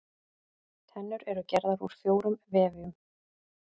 Tennur eru gerðar úr fjórum vefjum.